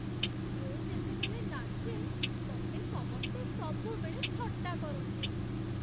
ମୁଁ ଯେତେବେଳେ ନାଚେ ମତେ ସମସ୍ତେ ସବୁବେଳେ ଥଟ୍ଟା କରନ୍ତି ।